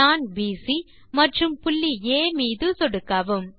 நாண் பிசி மற்றும் புள்ளி ஆ மீது சொடுக்கவும்